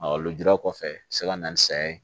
lujura kɔfɛ a bɛ se ka na ni saya ye